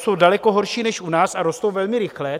Jsou daleko horší než u nás a rostou velmi rychle.